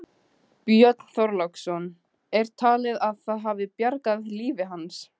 Björn Þorláksson: Er talið að það hafi bjargað lífi hans?